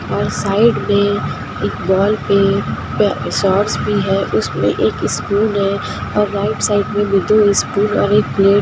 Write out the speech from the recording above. और साइड में एक वॉल पे सोर्स भी है उसमे एक स्पून है और राईट साइड में भी दो स्पून और एक प्लेट है।